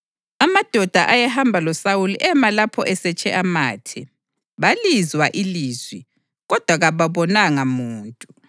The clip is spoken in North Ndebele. Amadoda ayehamba loSawuli ema lapho esetshe amathe; balizwa ilizwi, kodwa kababonanga muntu.